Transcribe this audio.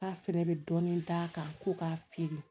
K'a fɛrɛ bɛ dɔɔnin d'a kan ko k'a feere